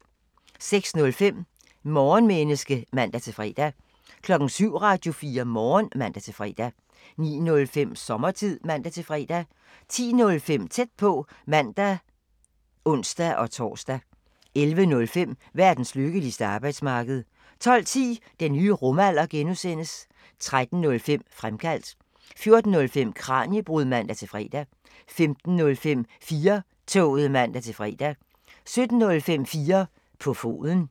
06:05: Morgenmenneske (man-fre) 07:00: Radio4 Morgen (man-fre) 09:05: Sommertid (man-fre) 10:05: Tæt på (man og ons-tor) 11:05: Verdens lykkeligste arbejdsmarked 12:10: Den nye rumalder (G) 13:05: Fremkaldt 14:05: Kraniebrud (man-fre) 15:05: 4-toget (man-fre) 17:05: 4 på foden